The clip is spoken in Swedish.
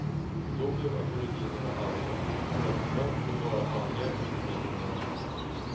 Då blev aboriginerna arga, för traditionellt får bara manliga urinnevånare ha sådana.